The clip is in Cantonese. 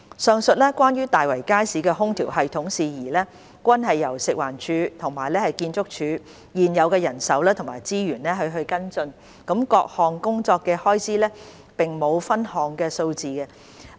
上述關於大圍街市空調系統的事宜，均由食環署和建築署現有的人手及資源跟進，各項工作的開支並無分項數字。